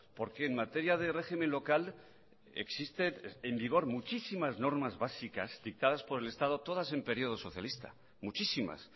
porque en materia de régimen local existen en vigor muchísimas normas básicas dictadas por el estado todas en período socialista muchísimas